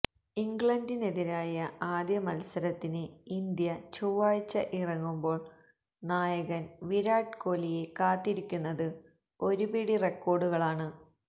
ഇംഗ്ലണ്ടിനെതിരായ ആദ്യ മത്സരത്തിന് ഇന്ത്യ ചൊവ്വാഴ്ച ഇറങ്ങുമ്പോൾ നായകൻ വിരാട് കോലിയെ കാത്തിരിക്കുന്നത് ഒരു പിടി റെക്കോർഡുകളാണ്